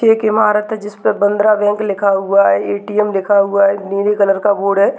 एक ईमारत है जिसमें बांद्रा बैंक लिखा हुआ है एटीएम लिखा हुआ है नीले कलर का बोर्ड है।